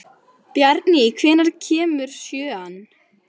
Bjarný, hvenær kemur sjöan?